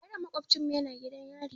Yaron maƙofcinmu yana gidan yari.